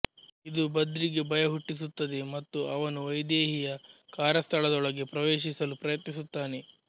ಇದು ಬದ್ರಿಗೆ ಭಯಹುಟ್ಟಿಸುತ್ತದೆ ಮತ್ತು ಅವನು ವೈದೇಹಿಯ ಕಾರ್ಯಸ್ಥಳದೊಳಗೆ ಪ್ರವೇಶಿಸಲು ಪ್ರಯತ್ನಿಸುತ್ತಾನೆ